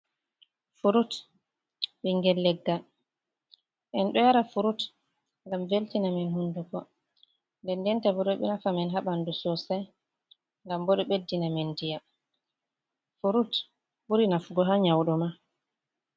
Furut ɓingel leggal en ɗo yara frut ngam veltina min hunduko nden ndenta bo ɗo nafa men ha ɓanɗu sosai ngam bo ɗo ɓeddina min ndiyam, furut ɓuri nafugo ha nyauɗo ma.